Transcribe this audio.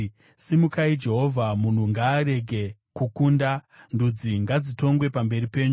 Simukai, Jehovha, munhu ngaarege kukunda; ndudzi ngadzitongwe pamberi penyu.